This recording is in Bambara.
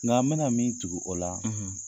Nka n bɛna min tugu o la